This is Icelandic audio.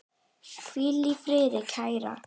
Hvíl í friði, kæra.